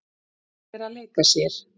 Hún er að leika sér.